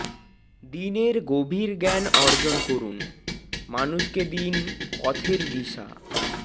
দ্বীনের গভীর জ্ঞান অর্জন করুন মানুষকে দিন পথের দিশা